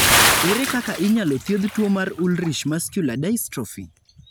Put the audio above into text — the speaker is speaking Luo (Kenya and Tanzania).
Ere kaka inyalo thiedh tuwo mar Ullrich muscular dystrophy?